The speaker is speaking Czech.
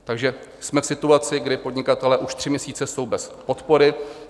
Takže jsme v situaci, kdy podnikatelé už tři měsíce jsou bez podpory.